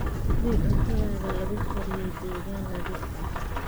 Hubi in cuntada lagu kariyey deegaan nadiif ah.